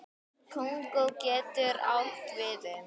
Kongó getur átt við um